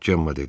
Cəmmə dedi.